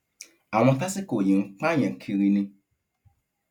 àwọn tásìkò yìí ń pààyàn kiri ni